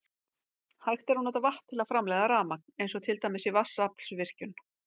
Hægt er að nota vatn til að framleiða rafmagn eins og til dæmis í vatnsaflsvirkjun.